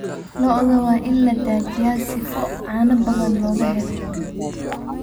Lo'odha wain ladaajiyaa sifo cano badaan lokaxelo.